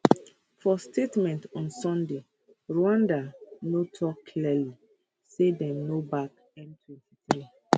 for statement on sunday rwanda no tok clearly say dem no back m23